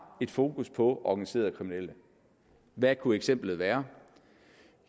et fokus på organiserede kriminelle hvad kunne eksemplet være